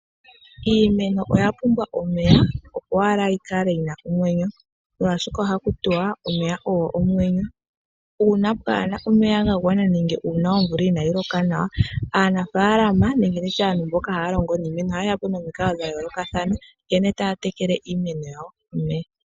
Iimeno oya pumbwa omeya opo yi kale yina omwenyo oshoka ohaku tiwa omeya ogo omwenyo, uuna kaapu na omeya ga gwana nenge omvula inayi loka nawa, aanafalama ohaya e ta po omikalo dhimwe dho ku tekela iimeno yawo.